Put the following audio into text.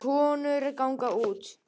Konur ganga út